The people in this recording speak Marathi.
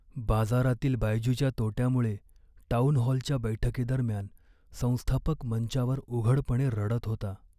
बाजारातील बायजूच्या तोट्यामुळे टाऊनहॉलच्या बैठकीदरम्यान संस्थापक मंचावर उघडपणे रडत होता.